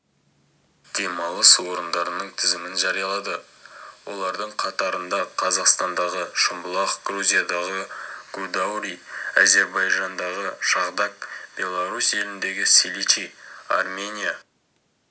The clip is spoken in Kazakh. демалыс орындарының тізімін жариялады олардың қатарындақазақстандағы шымбұлақ грузиядағы гудаури әзербайжандағы шахдаг беларусь еліндегі силичи армения